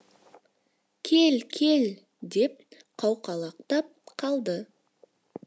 кел кел деп қауқалақтап қалды